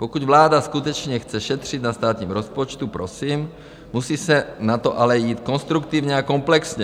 Pokud vláda skutečně chce šetřit na státním rozpočtu, prosím, musí se na to ale jít konstruktivně a komplexně.